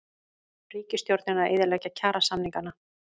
Ríkisstjórnin að eyðileggja kjarasamningana